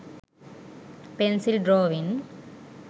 pencil drawing